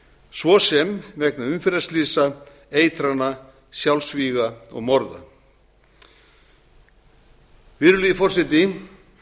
svo sem vegna umferðarslysa eitrana sjálfsvíga og morða virðulegi forseti